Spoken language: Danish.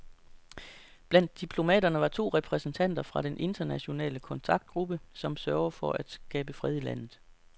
Blandt diplomaterne var to repræsentanter fra den internationale kontaktgruppe, som søger at skabe fred i landet.